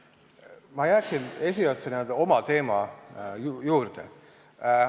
Ma jääksin oma esialgse teema juurde.